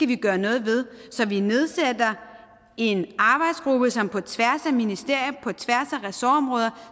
vi gøre noget ved så vi nedsætter en arbejdsgruppe som på tværs af ministerier på tværs af ressortområder